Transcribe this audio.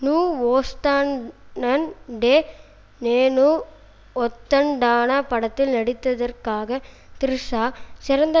நூ வொஸ்தானன்டே நேனு ஒத்தன்டானா படத்தில் நடித்ததற்காக த்ரிஷா சிறந்த